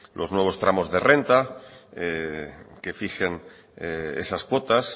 los nuevos tramos de renta que fijen esas cuotas